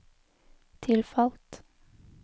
tilfalt